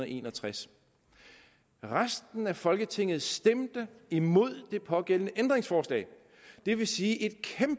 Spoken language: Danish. en og tres resten af folketinget stemte imod det pågældende ændringsforslag det vil sige